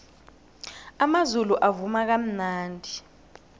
amazulu avuma kamnandi